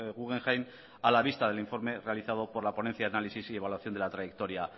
guggenheim a la vista del informe realizado por la ponencia de análisis y evaluación de la trayectoria